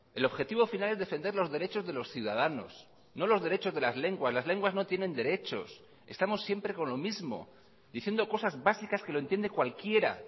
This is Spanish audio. el objetivo final es defender los derechos de los ciudadanos no los derechos de las lenguas las lenguas no tienen derechos estamos siempre con lo mismo diciendo cosas básicas que lo entiende cualquiera